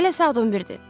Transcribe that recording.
Hələ saat 11-dir.